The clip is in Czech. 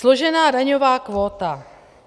Složená daňová kvóta.